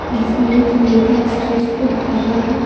जिसमें एक नेता स्टेज पे खरा है।